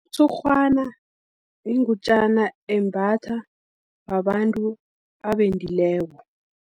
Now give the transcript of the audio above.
Umtshurhwana, yingutjana embatha babantu abendileko.